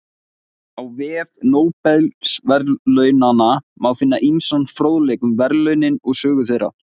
Á vef Nóbelsverðlaunanna má finna ýmsan fróðleik um verðlaunin og sögu þeirra.